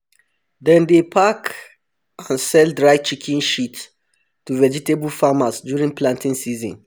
dem dey pack and sell dry chicken shit to vegetable farmers during planting season